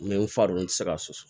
N bɛ n fa don n tɛ se ka soso